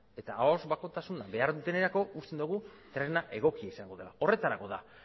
eta ahoz bakotasuna behar dutenerako uste dugu tresna egokia izango dela horretarako da